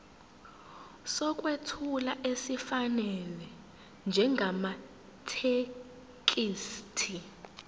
sokwethula esifanele njengamathekisthi